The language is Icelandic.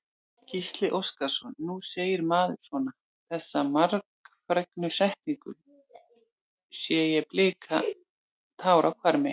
Gísli Óskarsson: Nú segir maður svona, þessa margfrægu setningu, sé ég blika tár á hvarmi?